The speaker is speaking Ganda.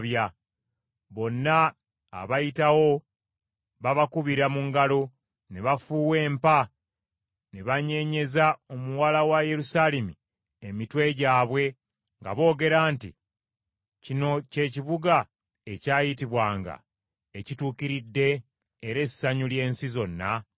Bonna abayitawo babakubira mu ngalo ne bafuuwa empa ne banyeenyeza omuwala wa Yerusaalemi emitwe gyabwe nga boogera nti, “Kino kye kibuga ekyayitibwanga ekituukiridde, era essanyu ly’ensi zonna?”